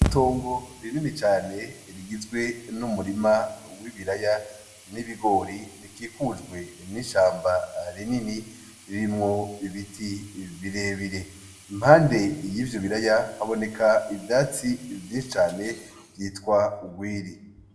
Itungu riinini cane rigizwe n’umurima w’ibiraya, n’ibigori bikikujwe n’ishamba rinini ririmwo ibiti birebire. Impande y’ivyo biraya haboneka ivyatsi vyinshi cane vyitwa ugwiri.